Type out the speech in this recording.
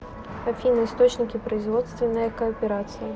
афина источники производственная кооперация